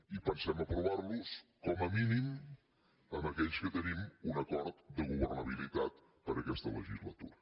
i pensem aprovar los com a mínim amb aquells que tenim un acord de governabilitat per a aquesta legislatura